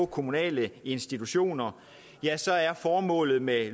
kommunale institutioner så er formålet med